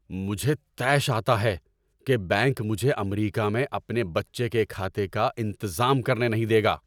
مجھے طیش آتا ہے کہ بینک مجھے امریکہ میں اپنے بچے کے کھاتے کا انتظام کرنے نہیں دے گا۔